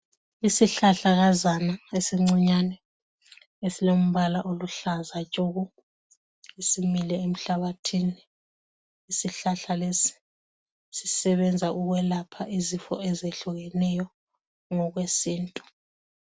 Isihlahlakazana esincinyane esilombala oluhlaza tshoko simile emhlabathini, isihlahla lesi sisebenza ukwelapha izifo ezehlukeneyo ngokwesintu.